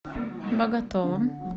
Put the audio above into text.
боготолом